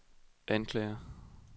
anklager